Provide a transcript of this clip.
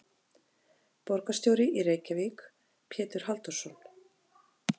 Borgarstjóri í Reykjavík: Pétur Halldórsson.